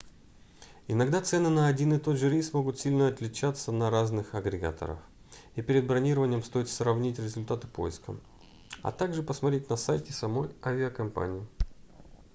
иногда цены на один и тот же рейс могут сильно отличаться на разных агрегаторах и перед бронированием стоит сравнить результаты поиска а также посмотреть на сайте самой авиакомпании